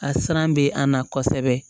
A siran bɛ a na kosɛbɛ